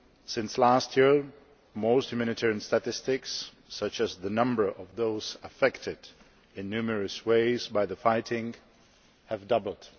Since last year, most humanitarian statistics, such as the number of those affected in numerous ways by the fighting, have doubled.